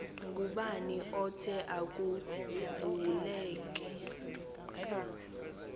ngubani othe akuvuleka